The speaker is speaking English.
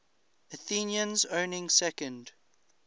athenians owning second